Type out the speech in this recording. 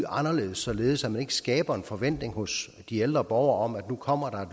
således at man ikke skaber en forventning hos de ældre borgere om at nu kommer